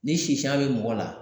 Ni sisan bɛ mɔgɔ la